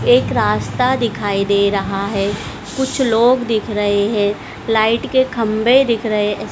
एक रास्ता दिखाई दे रहा है कुछ लोग दिख रहे है लाइट के खंभे दिख रहे--